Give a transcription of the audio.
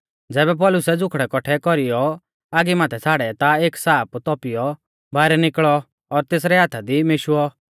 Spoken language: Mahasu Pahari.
ज़ैबै पौलुसै ज़ुखड़ै कौट्ठै कौरीयौ आगी माथै छ़ाड़ै ता एक साप तौपीयौ बाइरै निकल़ौ और तेसरै हाथा दी मेशुऔ